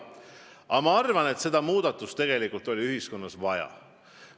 Aga ma arvan, et muudatust tegelikult oli ühiskonnas vaja.